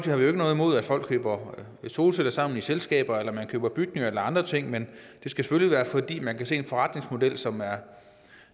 har vi jo ikke noget imod at folk køber solceller sammen i selskaber eller at man køber bygninger eller andre ting men det skal selvfølgelig være fordi man kan se en forretningsmodel som er